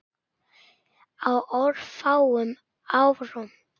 Á örfáum árum.